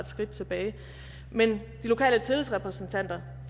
skridt tilbage men de lokale tillidsrepræsentanter